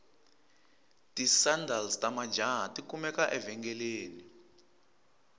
tisandals tamajahha takumeka evengeleni